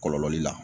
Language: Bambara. Kɔlɔlɔ la